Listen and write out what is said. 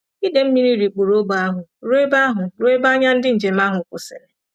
Ide mmiri rikpuru ógbè ahụ ruo ebe ahụ ruo ebe anya ndị njem ahụ kwụsịrị.